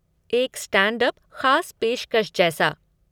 एक stand up ख़ास पेशकश जैसा।